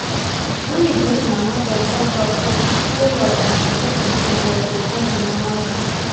when we give mama beta support e show love and to give pikin breast go come be normal tin